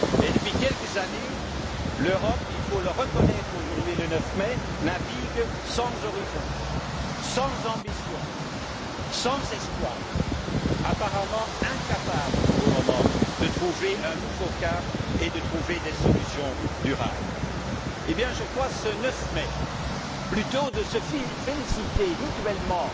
Depuis quelques années, l'Europe il faut le reconnaître en cette journée du 9 mai navigue sans horizon, sans ambition, sans espoir, apparemment incapable, pour le moment, de trouver un nouveau cap et des solutions durables. Je crois qu'en ce 9 mai, plutôt que de se féliciter mutuellement,